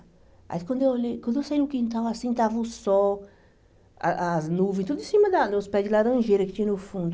Aí, quando eu olhei quando eu saí no quintal, assim, estava o sol, ah as nuvens, tudo em cima da dos pés de laranjeira que tinha no fundo.